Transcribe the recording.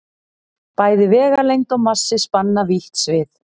Bæði vegalengd og massi spanna vítt svið.